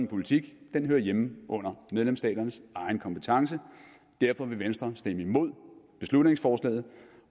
politik hører hjemme under medlemslandenes egen kompetence derfor vil venstre stemme imod beslutningsforslaget